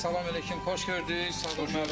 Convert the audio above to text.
Ay salam əleykum, xoş gördük Sadıq müəllim.